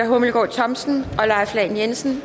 hummelgaard thomsen og leif lahn jensen